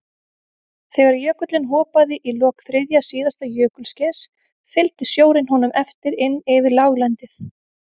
Þegar jökullinn hopaði í lok þriðja síðasta jökulskeiðs fylgdi sjórinn honum eftir inn yfir láglendið.